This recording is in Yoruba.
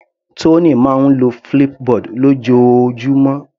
Tony máa ń lo Flipboard lójoojúmọ́.